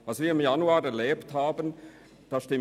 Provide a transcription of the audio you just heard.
Was wir im Januar erlebt haben, war sehr spontan.